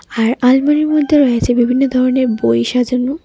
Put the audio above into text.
আর আলমারির মধ্যে রয়েছে বিভিন্ন ধরনের বই সাজানো.